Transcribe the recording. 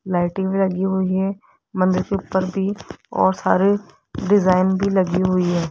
Lighting लगी हुई है मंदिर के ऊपर भी और सारे डिजाइन भी लगी हुई है।